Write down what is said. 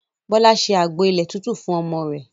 Bọlá ṣe àgbo ilẹ̀ tútù fún ọmọ rẹ̀